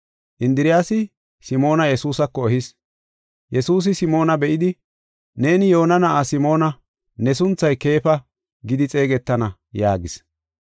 Indiriyasi Simoona Yesuusako ehis. Yesuusi Simoona be7idi, “Neeni Yoona na7aa Simoona; ne sunthay Keefa gidi xeegetana” yaagis.